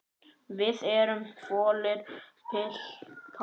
Þið eruð fölir, piltar.